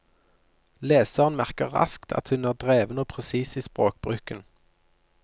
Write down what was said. Leseren merker raskt at hun er dreven og presis i språkbruken.